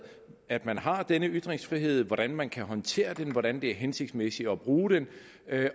at man har denne ytringsfrihed hvordan man kan håndtere den hvordan det er hensigtsmæssigt at bruge den